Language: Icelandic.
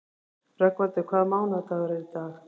Rögnvaldur, hvaða mánaðardagur er í dag?